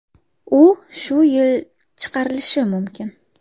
U shu yil chiqarilishi mumkin.